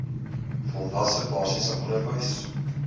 volwasse basiese onderwys